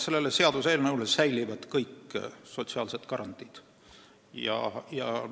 Selle seaduseelnõu kohaselt säilivad kõik sotsiaalsed garantiid.